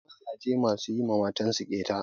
Akwai mazaje masu yi wa matan su ƙeta.